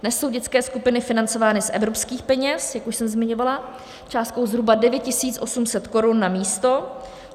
Dnes jsou dětské skupiny financovány z evropských peněz, jak už jsem zmiňovala, částkou zhruba 9 800 korun na místo.